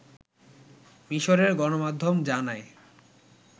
মিসরের গণমাধ্যম জানায়